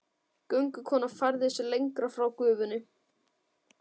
Göngukonan færði sig lengra frá gufunni.